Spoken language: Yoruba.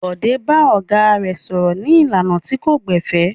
Bọ̀dé bá ọ̀gá rẹ̀ sọ̀rọ̀ ní ìlànà tí kò gbẹ̀fẹ̀.